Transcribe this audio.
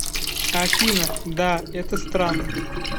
афина да это странно